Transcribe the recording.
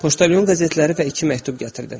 Poçtalyon qəzetləri və iki məktub gətirdi.